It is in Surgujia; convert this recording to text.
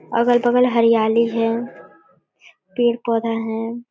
अगल-बगल हरियाली है पेड़-पौधा है।